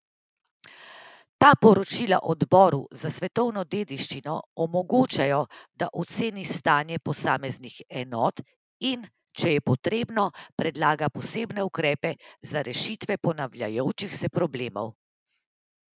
Ta poročila Odboru za svetovno dediščino omogočajo, da oceni stanje posameznih enot in, če je potrebno, predlaga posebne ukrepe za rešitve ponavljajočih se problemov.